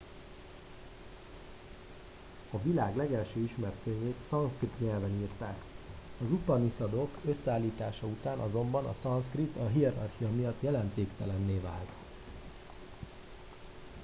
a világ legelső ismert könyvét szanszkrit nyelven írták az upanisadok összeállítása után azonban a szanszkrit a hierarchia miatt jelentéktelenné vált